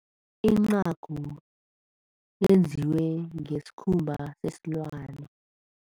Incagu yenziwe ngesikhumba sesilwani.